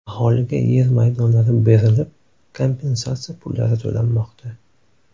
Aholiga yer maydonlari berilib, kompensatsiya pullari to‘lanmoqda.